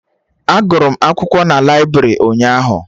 A gụrụ m akwụkwọ n'laibrị ụnyaahụ